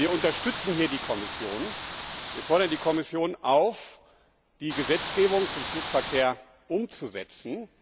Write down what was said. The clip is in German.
Wir unterstützen hier die Kommission. Wir fordern die Kommission auf, die Gesetzgebung zum Flugverkehr umzusetzen.